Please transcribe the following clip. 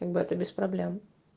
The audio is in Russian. как бы это без проблем